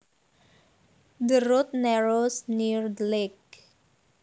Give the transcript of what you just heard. The road narrows near the lake